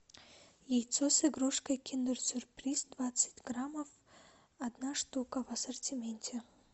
яйцо с игрушкой киндер сюрприз двадцать граммов одна штука в ассортименте